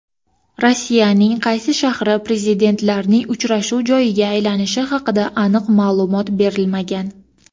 Rossiyaning qaysi shahri Prezidentlarning uchrashuv joyiga aylanishi haqida aniq ma’lumot berilmagan.